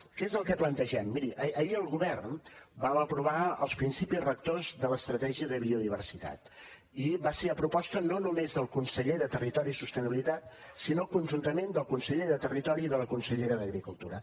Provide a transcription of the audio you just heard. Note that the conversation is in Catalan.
què és el que plantegem miri ahir el govern vam aprovar els principis rectors de l’estratègia de biodiversitat i va ser a proposta no només del conseller de territori i sostenibilitat sinó conjuntament del conseller de territori i de la consellera d’agricultura